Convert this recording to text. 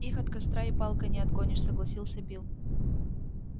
их от костра и палкой не отгонишь согласился билл